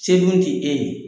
Se dun ti e ye.